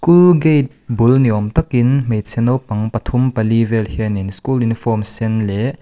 school gate bul ni awm takin hmeichhe naupang pathum pali vel hianin school uniform sen leh--